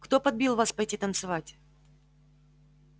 кто подбил вас пойти танцевать